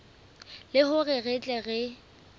le hore re tle re